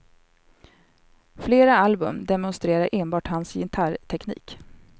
Flera album demonstrerar enbart hans gitarrteknik.